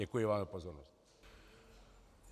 Děkuji vám za pozornost.